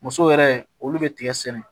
Musow yɛrɛ olu bɛ tigɛ sɛnɛ